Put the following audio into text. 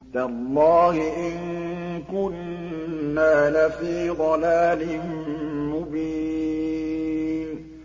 تَاللَّهِ إِن كُنَّا لَفِي ضَلَالٍ مُّبِينٍ